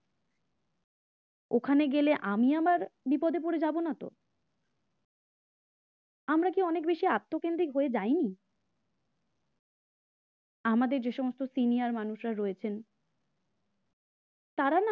ওখানে গেলে আমি আবার বিপদে পড়ে যাব না তো? আমরা কি অনেক বেশি আত্মকেন্দ্রিক হয়ে যাইনি, আমাদের যে সমস্ত senior মানুষরা রয়েছেন তারা না